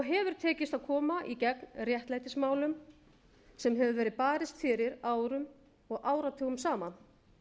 hefur tekist að koma í gegn réttlætismálum sem hefur verið barist fyrir árum og áratugum saman